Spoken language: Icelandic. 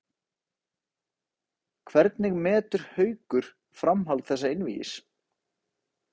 Hvernig metur Haukur framhald þessa einvígis?